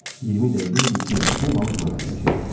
20 dəqiqə idi ki, bu balıqla əlləşirdi.